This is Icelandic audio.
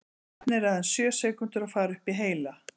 Efnið er aðeins sjö sekúndur að fara upp í heila.